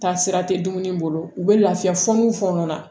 Taasira tɛ dumuni bolo u bɛ lafiya fɔ min fɔ n'a na